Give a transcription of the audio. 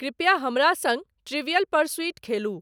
कृपया हमरा संग ट्रिविअल परसुइट खेलु